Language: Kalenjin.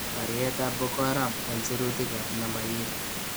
Baryeetab Boko Haram en sirutiik ab nambayiit